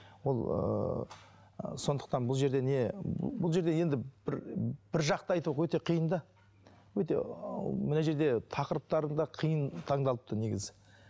ол ыыы сондықтан бұл жерде не бұл жерде енді бір бір жақты айту өте қиын да өте мына жерде тақырыптарың да қиын таңдалыпты негізі